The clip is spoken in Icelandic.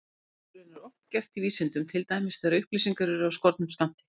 Slíkt er raunar oft gert í vísindum, til dæmis þegar upplýsingar eru af skornum skammti.